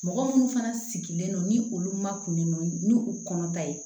Mɔgɔ minnu fana sigilen don ni olu ma kunun ni u kɔnɔ ta ye